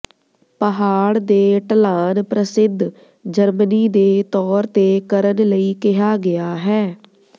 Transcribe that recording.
ਪਹਾੜ ਦੇ ਢਲਾਨ ਪ੍ਰਸਿੱਧ ਜਰਮਨੀ ਦੇ ਤੌਰ ਤੇ ਕਰਨ ਲਈ ਕਿਹਾ ਗਿਆ ਹੈ